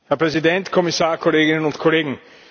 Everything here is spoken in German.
Herr Präsident, Herr Kommissar, Kolleginnen und Kollegen!